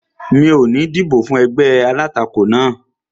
Mi ò ní dìbò fún ẹgbẹ́ alátakò náà